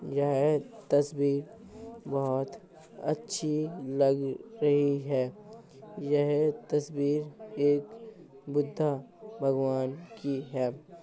यह तस्वीर बहोत अच्छी लग रही है। यह तस्वीर एक बुद्धा भगवान की है।